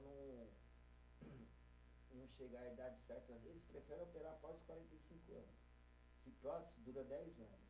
chegar à idade certa, eles preferem operar após quarenta e cinco anos, que prótese dura dez anos